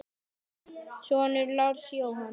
Þinn sonur, Lars Jóhann.